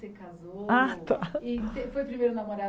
Você casou? Ah tá E você foi o primeiro namorado